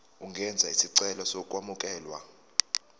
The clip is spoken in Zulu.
ungenza isicelo sokwamukelwa